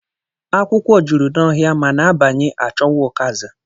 Akwụkwọ jụrụ n'ọhịa mana a banye, a chọwa ụkazị